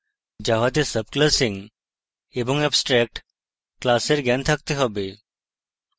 java তে subclassing এবং abstract classes এর জ্ঞান থাকতে have